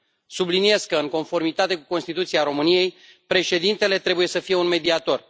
Subliniez că, în conformitate cu Constituția României, președintele trebuie să fie un mediator.